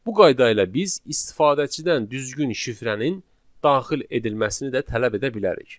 Bu qayda ilə biz istifadəçidən düzgün şifrənin daxil edilməsini də tələb edə bilərik.